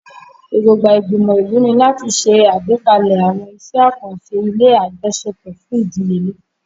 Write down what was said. Èrògbà ìgbìmọ̀ ìlú ni láti ṣe àgbékalẹ̀ àwọn iṣẹ́ àkànṣe ilé àjọṣepọ̀ fún ìdíyelé.